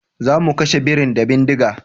Zamu kashe birin da bindiga